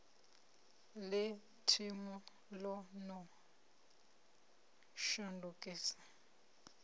ḽe thenu ḽo no shandukisa